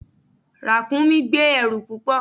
Ràkúnmí gbé ẹrù púpọ̀.